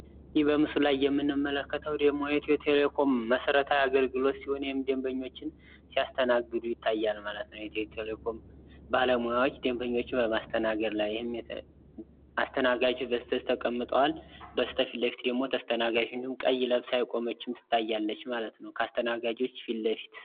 ይህ በምስሉ ላይ የምንመለከተዉ ደግሞ የኢትዮ ቴሌኮም መሰረታዊ አገልግሎት ሲሆን ይህም ደንበኞችን ሲያስተናግዱ ይታያል ማለት ነዉ። ኢትዮ ቴሌኮም ባለሙያዎች ደንበኞችን በማስተናገድ ላይ አስተናጋጆች በስተ ዚህ ተቀምጠዋል በስተ ፊት ለፊት ደግሞ ተስተናጋጆች እንዲሁም ቀይ ለብሳ የቆመች ትታያለች ማለት ነዉ። ከአስተናጋጆች ፊት ለፊት